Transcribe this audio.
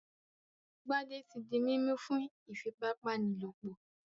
Gbadé ti di mímú fún iìfipábánilòpọ̀.